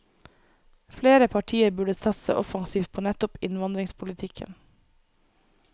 Flere partier burde satse offensivt på nettopp innvandringspolitikken.